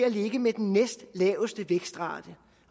at ligge med den næstlaveste vækstrate